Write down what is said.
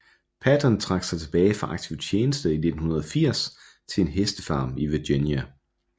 Patton trak sig tilbage fra aktiv tjeneste i 1980 til en hestefarm i Virginia